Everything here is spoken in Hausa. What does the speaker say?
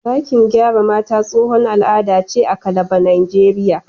Ɗakin gyara mata tsohon al'ada ce a Calabar, Najeriya.